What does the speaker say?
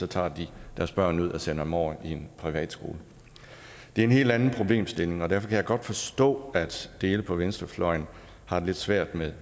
tager de deres børn ud og sender dem over i en privatskole det er en helt anden problemstilling og derfor kan jeg godt forstå at dele på venstrefløjen har det lidt svært med